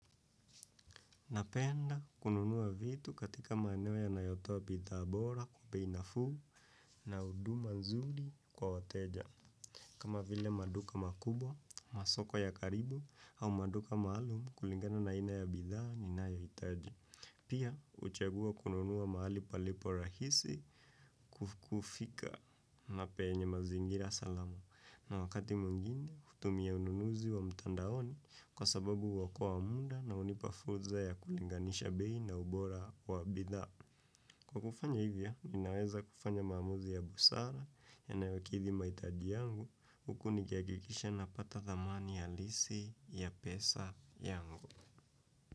Napenda kununua vitu katika maeneo yanayotoa bidhaa bora kwa bei nafuu na huduma nzuri kwa wateja. Kama vile maduka makubwa, masoko ya karibu au maduka maalum kulingana na aina ya bidhaa ninayohitaji. Pia huchagua kununua mahali palipo rahisi kufika na penye mazingira salama. Na wakati mwingine, hutumia ununuzi wa mtandaoni kwa sababu huokoa muda na hunipa fursa ya kulinganisha bei na ubora wa bidhaa. Kwa kufanya hivyo, ninaweza kufanya maamuzi ya busara yanayokidhi mahitaji yangu, huku nikihakikisha napata thamani halisi ya pesa yangu.